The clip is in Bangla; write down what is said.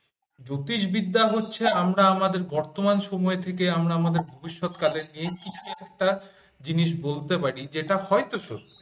জ্যোতিষবিদ্যা হচ্ছে আমরা আমাদের বর্তমান সময় থেকে আমরা আমাদের ভবিষ্যৎকালে এই কিছু একটা জিনিস বলতে পারি যেটা হয়ত সত্য।